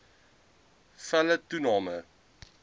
nne felle toename